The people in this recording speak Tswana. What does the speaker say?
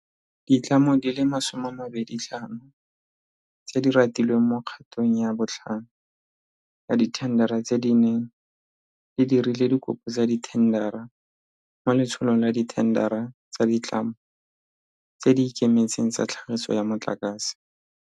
Ditlamo di le 25 tse di ratilweng mo kgatong ya botlhano ya dithendara tse di neng di dirile dikopo tsa dithendara mo Letsholong la Dithendara tsa Ditlamo tse di Ikemetseng tsa Tlhagiso ya Motlakase.